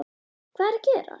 Hvað er að gerast???